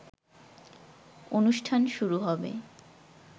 অনুষ্ঠান শুরু হবে